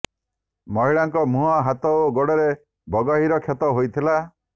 ମହିଳାଙ୍କ ମୁହଁ ହାତ ଓ ଗୋଡରେ ବଗହୀର କ୍ଷତ ହୋଇଥିଲା